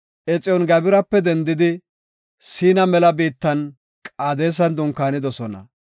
Exiyooni-Gabirape dendidi Siina mela biittan Qaadesan dunkaanidosona.